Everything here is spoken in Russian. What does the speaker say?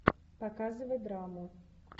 показывай драму